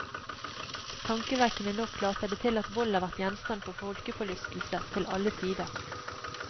Tankevekkende nok later det til at vold har vært gjenstand for folkeforlystelse til alle tider.